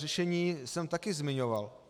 Řešení jsem taky zmiňoval.